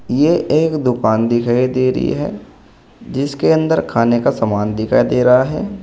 ये एक दुकान दिखाई दे रही है जिसके अंदर खाने का सामान दिखाई दे रहा है।